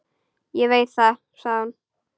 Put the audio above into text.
Ég veit það, sagði hún.